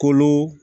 Kolo